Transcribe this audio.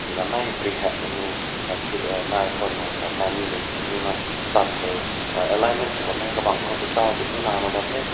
gannai phrit heng mei nu gangat phir uh nai phün mei kat mui mei nuna tan tai ah alignment su bam meh ka bang beta zug ni laloi bam teh.